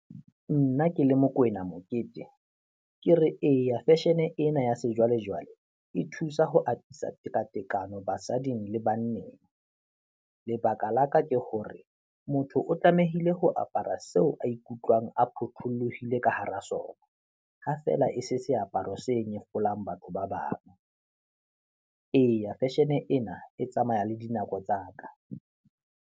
Nna ke le Mokoena Mokete, ke re eya, fashion-e ena ya sejwalejwale e thusa ho atisa tekatekano basading le banneng. Lebaka la ka ke hore motho o tlamehile ho apara seo a ikutlwang a phothollohile ka hara sona, ha fela e se seaparo se nyefolang batho ba bang. Eya, fashion-e ena e tsamaya le dinako tsa ka.